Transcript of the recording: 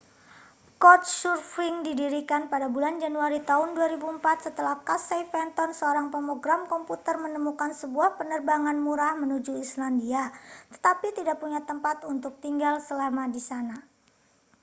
couchsurfing didirikan pada bulan januari tahun 2004 setelah casey fenton seorang pemrogram komputer menemukan sebuah penerbangan murah menuju islandia tetapi tidak punya tempat untuk tinggal selama di sana